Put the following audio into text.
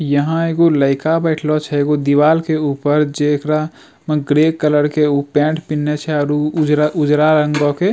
यहाँ एगो लईका बैठलो छे एगो दीवाल के ऊपर जेकरा में ग्रे कलर के उ पैंट पेन्हलो छे और उ उजरा उजरा रंगो के।